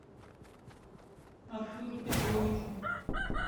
артуру петровичу